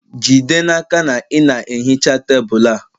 Jide n'aka na ị na-ehicha tebụl a